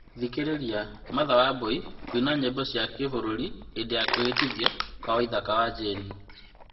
Thikĩrĩria , martha wambui kũina nyĩmbo cia gĩbũrũri hĩndĩ ya kwĩhĩtithio kwa waithaka wa jane